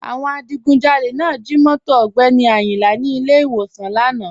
Àwọn adìgùnjálẹ̀ náà jí móto Ogbeni Ayinla ní ilẹ̀ iwọ̀san lána.